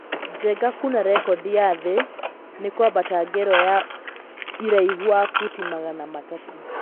Njenga kuna rekodi ya thĩ ni kwambata ngerwa ya iraihu wa futi magana matatũ